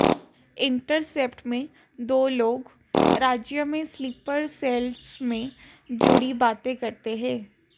intercept में दो लोग राज्य में स्लीपर सेल्स से जुड़ी बातें करते हैं